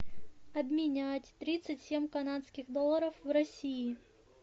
обменять тридцать семь канадских долларов в россии